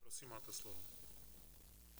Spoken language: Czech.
Prosím, máte slovo.